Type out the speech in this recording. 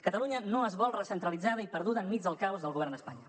catalunya no es vol recentralitzada i perduda enmig del caos del govern d’espanya